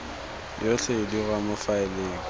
yotlhe e dirwa mo faeleng